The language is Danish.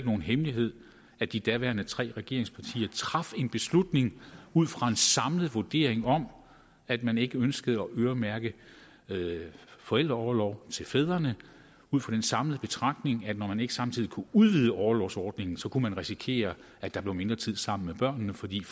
nogen hemmelighed at de daværende tre regeringspartier traf en beslutning ud fra en samlet vurdering om at man ikke ønskede at øremærke forældreorlov til fædrene ud fra den samlede betragtning at når man ikke samtidig kunne udvide orlovsordningen så kunne man risikere at der blev mindre tid sammen med børnene fordi